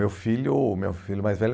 Meu filho meu filho mais velho